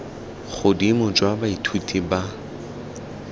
godimo jwa fa baithuti ba